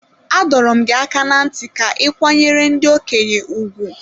adọrọ m gị aka na nti ka i kwanyere ndi-okenye ùgwù.